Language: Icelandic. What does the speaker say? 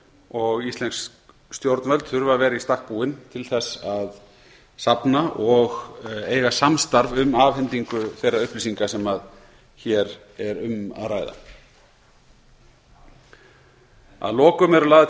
og íslensk stjórnvöld þurfa að vera í stakk búin til að safna og eiga samstarf um afhendingu þeirra upplýsinga sem hér er um að ræða að lokum eru lagðar til